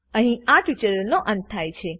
અહી આ ટ્યુટોરીયલનો અંત થાય છે